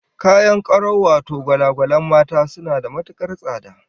Kayan karau wato gwala-gwalan mata, suna da matukar tsada